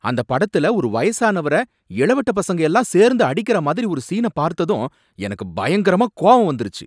அந்த படத்துல ஒரு வயசானவர இளவட்ட பசங்க எல்லாம் சேர்ந்து அடிக்கற மாதிரி ஒரு சீன பார்த்ததும் எனக்கு பயங்கரமா கோவம் வந்திருச்சு.